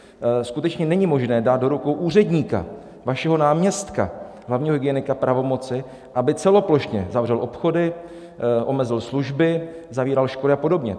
Skutečně není možné dát do rukou úředníka, vašeho náměstka, hlavního hygienika, pravomoci, aby celoplošně zavřel obchody, omezil služby, zavíral školy a podobně.